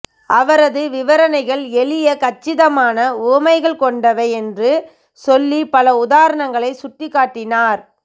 அவரது விவரணைகள் எளிய கச்சிதமான உவமைகள் கொண்டவை என்று சொல்லி பல உதாரணங்களைச் சுட்டிக்காட்டினார்